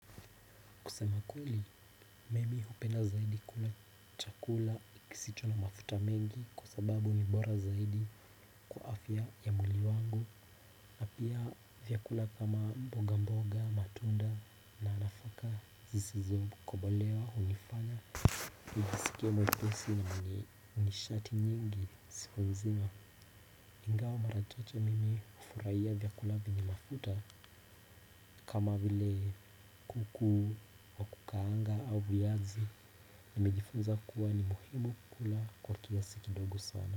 Kusema ukweli, mimi hupenda zaidi kula chakula kisicho na mafuta mingi kwa sababu ni bora zaidi kwa afya ya mwili wangu. Na pia vyakula kama mboga mboga, matunda na nafaka zizizo kobolewa hunifanya. Najisikia mwepesi na mwenye nishati nyingi siku nzima. Ingawa mara chache mimi hufurahia vyakula vyenye mafuta kama vile kuku wa kukaanga au viazi nimejifunza kuwa ni muhimu kukula kwa kiasi kidogo sana.